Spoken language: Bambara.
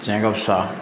Tiɲɛ ka fusa